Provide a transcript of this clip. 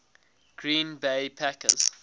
green bay packers